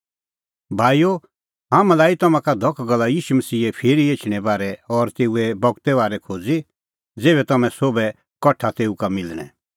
भाईओ हाम्हैं लाई तम्हां का धख गल्ला ईशू मसीहे फिरी एछणें बारै और तेऊ बगते बारै खोज़ी ज़ेभै हाम्हां सोभै कठा तेऊ का मिलणैं